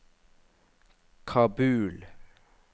Kabul